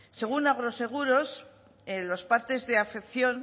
según agroseguros en los partes de afección